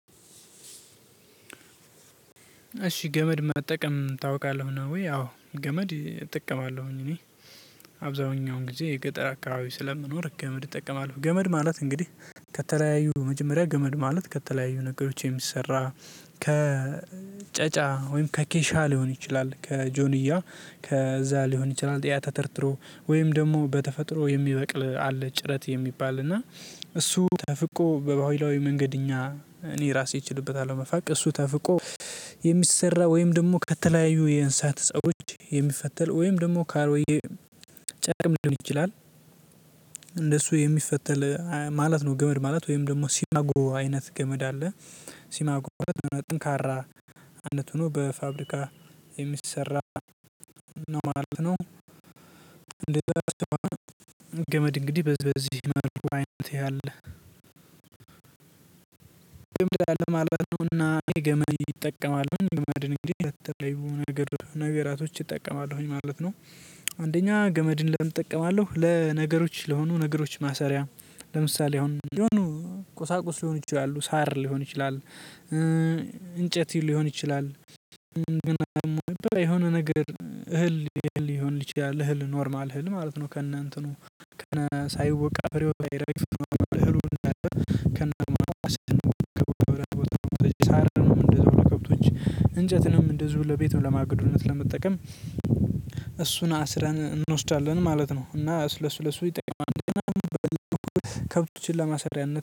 እሺ ገመድ መጠቀም ታውቃለሁ ነው ወይ አዎ ገመድ እጠቀማለሁኝ እኔ አብዛሀኛውን ጊዜ የገጠር አካባቢ ስለምኖር ገመድ እጠቀማለሁ ገመድ ማለት እንግዲህ ከተለያዩ መጀመሪያ ገመድ ማለት ከተለያዩ ነገሮች የሚሰራ። ከጨጫ ወይም ከኬሻ ሊሆን ይችላል ከጆንያ ከዛ ሊሆን ይችላል ጥያ ተተርትሮ ወይም ደግሞ በተፈጥሮ የሚበቅል አለ ጭረት የሚባል እና እሱ ተፍቆ በባህላዊ መንገድ እኛ እኔ ራሴ እችልበታለሁ መፋቅ እሱ ተፍቆ የሚሰራ ወይም ደግሞ ከተለያዩ የእንሳት ፀቦች የሚፈተል ወይም ደግሞ ካሮጌ ጨርቅም ሊሆን ይችላል። እንደሱ የሚፈተል ማለት ነው። ገመድ ማለት ወይም ደግሞ ሲባጎ አይነት ገመድ አለ። ሲባጎ ጠንካራ አንድ ሆኖ በፋብሪካ የሚሰራ ነው ማለት ነው። ገመድ እንግዲህ በዚህ በዚህ መልኩ አይነት ያለ ገመድ አለ ማለት ነውና ገመድ ይጠቀማል ገመድን እንግዲህ ነገር ነገራቶች እጠቀማለሁኝ ማለት ነው። አንደኛ ገመድን ለምን እጠቀማለሁ ለነገሮች ለሆኑ ነገሮች ማሰሪያ። ለምሳሌ አሁን የሆኑ ቁሳቁስ ሊሆኑ ይችላሉ ሳር ሊሆን ይችላል። እንጨት ሊሆን ይችላል። ግን የሆነ ነገር እህል ሊሆን ይችላል እህል ኖርማል እህል ማለት ነው። ከነ እንትኑ ከነ ሳይወቃ በሬው ሳይረግፍም እህሉን እንዳለ። ከነ ሳር እንደዛው ለከብቶች እንጨትንም እንደዚው ለቤቱን ለማግዶነት ለመጠቀም። እሱን አስረን እንወስዳለን ማለት ነው እና ለሱ ለሱ ይጠቅማል። ከብቶችን ለማሰሪያነት